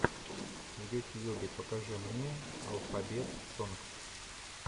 в ютьюбе покажи мне алфабет сонгс